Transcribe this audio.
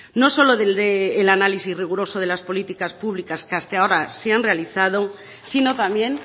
no solo del de el análisis riguroso de las políticas públicas que hasta ahora se han realizado sino también